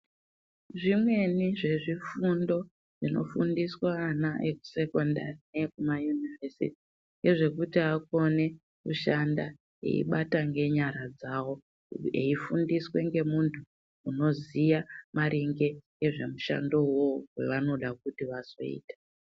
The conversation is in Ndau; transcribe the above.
Zvimweni zvezvifundo zvinofundiswe ana ekusekondari neekumayunivhesiti ngezvekuti akone kushada eibata ngenyara dzawo .Eifundiswa ngemuntu unoziya maringe ngezvemhshando iwoyo wavanoda kuti vazoita.